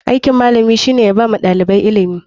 Aikin malami shine yabawa ɗalibai ilimi.